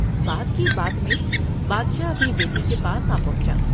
بات کی بات میں بادشاہ اپنی بیٹی کے پاس آ پہنچا ۔